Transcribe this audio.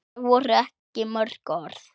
Þetta voru ekki mörg orð.